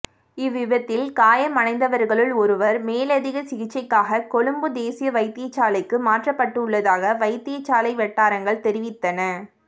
இவ்விபத்தில் காயமடைந்தவர்களுள் ஒருவர் மேலதிக சிகிச்சைக்காக கொழும்பு தேசிய வைத்தியசாலைக்கு மாற்றப்பட்டுள்ளதாக வைத்தயசாலை வட்டாரங்கள் தெரிவித்தன